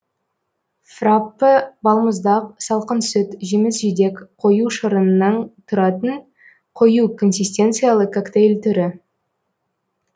фраппе балмұздақ салқын сүт жеміс жидек қою шырынынан тұратын қою консистенциялы коктейль түрі